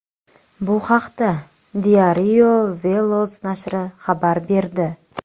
Bu haqda Diario Veloz nashri xabar berdi .